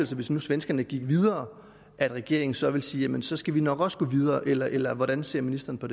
sig hvis nu svenskerne gik videre at regeringen så ville sige jamen så skal vi nok også gå videre eller eller hvordan ser ministeren på